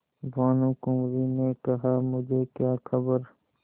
भानुकुँवरि ने कहामुझे क्या खबर